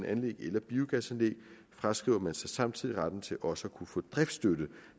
anlæg eller biogasanlæg fraskriver man sig så samtidig retten til også at få driftsstøtte